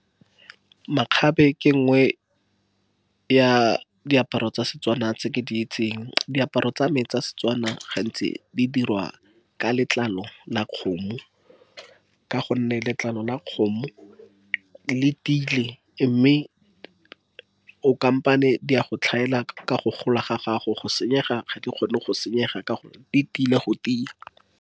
Makgabe ke e nngwe ya diaparo tsa setswana tse ke di itseng, diaparo tsa me tsa Setswana gantsi di dirwa ka letlalo la kgomo. Ka gonne letlalo la kgomo le tiile. Mme o kampane dia go tlhaela ka go gola ga gago go senyega ga di kgone go senyega ka gonne di tiile go tia.